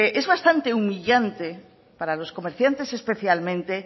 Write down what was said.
es bastante humillante para los comerciantes especialmente